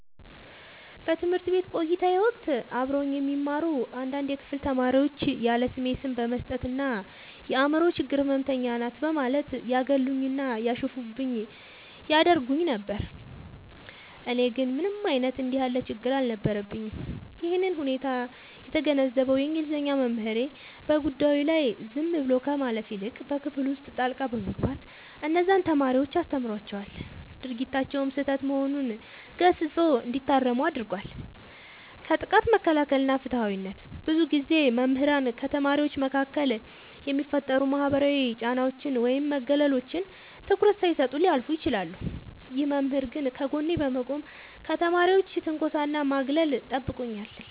በትምህርት ቤት ቆይታዬ ወቅት አብረውኝ የሚማሩ አንዳንድ የክፍል ተማሪዎች ያለስሜ ስም በመስጠት እና "የአምሮ ችግር ህመምተኛ ናት" በማለት ያገሉኝና ያሾፉብኝ ያደርጉኝ ነበር። እኔ ግን ምንም አይነት እንዲህ ያለ ችግር አልነበረብኝም። ይህንን ሁኔታ የተገነዘበው የእንግሊዘኛ መምህሬ፣ በጉዳዩ ላይ ዝም ብሎ ከማለፍ ይልቅ በክፍል ውስጥ ጣልቃ በመግባት እነዚያን ተማሪዎች አስተምሯቸዋል፤ ድርጊታቸውም ስህተት መሆኑን ገስጾ እንዲታረሙ አድርጓል። ከጥቃት መከላከል እና ፍትሃዊነት፦ ብዙ ጊዜ መምህራን ከተማሪዎች መካከል የሚፈጠሩ ማህበራዊ ጫናዎችን ወይም መገለሎችን ትኩረት ሳይሰጡ ሊያልፉ ይችላሉ። ይህ መምህር ግን ከጎኔ በመቆም ከተማሪዎች ትንኮሳና ማግለል ጠብቆኛል።